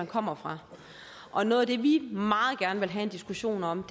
kommer fra og noget af det vi meget gerne vil have en diskussion om